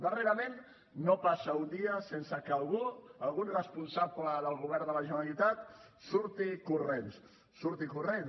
darrerament no passa un dia sense que algú algun responsable del govern de la generalitat surti corrents surti corrents